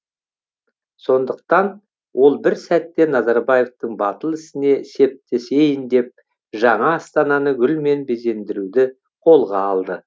сондықтан ол бір сәтте назарбаевтың батыл ісіне септесейін деп жаңа астананы гүлмен безендіруді қолға алды